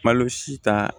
Malo si ta